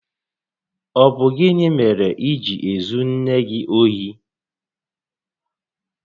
Ọ bụ gịnị mèrè iji ezu nné gị ohi?